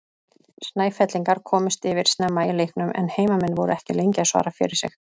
Snæfellingar komust yfir snemma í leiknum en heimamenn voru ekki lengi að svara fyrir sig.